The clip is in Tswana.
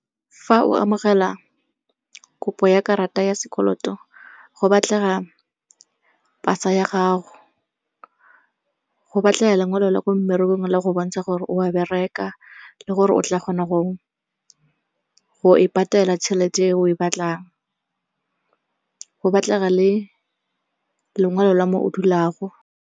Fa o amogela kopo ya karata ya sekoloto go batlega pasa ya gago, go batlega lengwalo la ko mmerekong le go bontsha gore o a bereka le gore o tla kgona go e patela tšhelete eo o e batlang. Go batlega le lengwalo la mo o dulago.